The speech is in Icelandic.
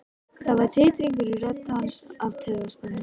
Það var titringur í rödd hans af taugaspennu.